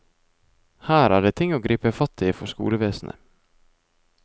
Her er det ting å gripe fatt i for skolevesenet.